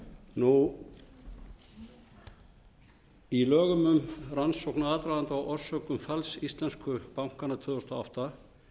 stjórnarskrárinnar í lögum um rannsókn og aðdraganda á orsökum falls íslensku bankanna tvö þúsund og átta